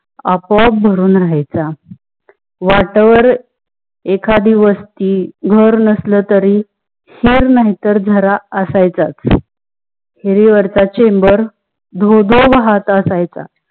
आपो आप भरुन राहायचा. वाटेवार एखादी वस्ती घर नासल तारी नहीं तर झरा असायच. खीरी वारचा चेंबर धो धो वाहत असायच.